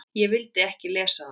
Ég vildi ekki lesa það.